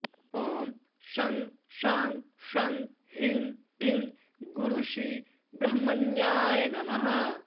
ॐ शं शां षं ह्रीं क्लीं गुरुश्री ब्रह्मण्याय नमः